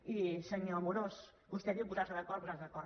i senyor amorós vostè diu posar se d’acord posar se d’acord